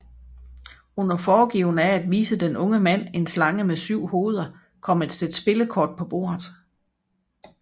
Under foregivende af at vise den unge mand en slange med syv hoveder kom et sæt spillekort på bordet